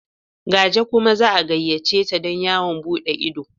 Gaje kuma za a gayyace ta don yawon buɗe ido.